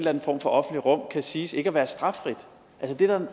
anden form for offentligt rum kan siges ikke at være straffrit